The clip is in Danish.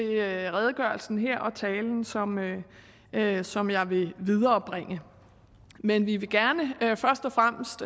redegørelsen her og talen som talen som jeg vil viderebringe men vi vil gerne først og fremmest